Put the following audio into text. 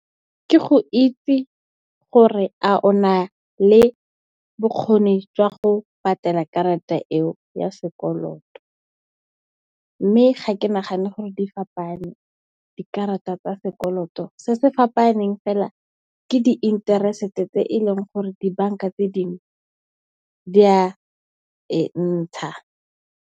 Ke go itse gore a ona le bokgoni jwa go patela karata eo ya sekoloto. Mme, ga ke nagane gore di fapane dikarata tsa sekoloto. Se se fapaneng fela ke di interesete tse e leng gore dibanka tse dingwe di a e ntsha.